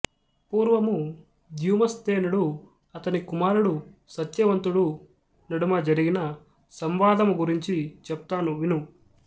పూర్వము ద్యుమత్సేనుడు అతడి కుమారుడు సత్యవంతుడు నడుమ జరిగిన సంవాదము గురించి చెప్తాను విను